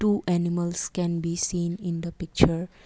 two animals can be seen in the picture.